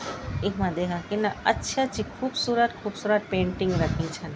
इखमा देखा किन्ना अच्छ-अच्छी खूबसूरत-खूबसूरत पेंटिंग रखीं छन।